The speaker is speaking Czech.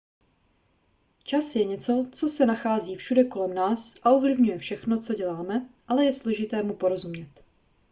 čas je něco co se nachází všude kolem nás a ovlivňuje všechno co děláme ale je složité mu porozumět